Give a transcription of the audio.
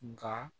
Nka